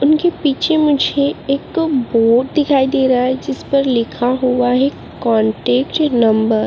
मुझे पीछे मुझे एक बोर्ड दिखाई दे रहा है जिस पर लिखा हुआ है कान्टैक्ट नंबर ।